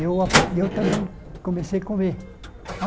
Eu a eu também comecei a comer.